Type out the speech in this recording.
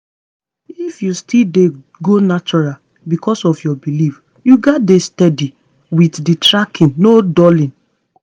if you dey go natural because of your belief you gats dey steady with the tracking no dulling.